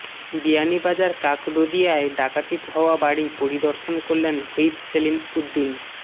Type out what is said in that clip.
বিয়ানীবাজার কাকরদিয়ায় ডাকাতি হওয়া বাড়ি পরিদর্শন করলেন হুইপ সেলিম উদ্দিন